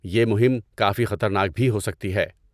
یہ مہم کافی خطرناک بھی ہو سکتی ہے۔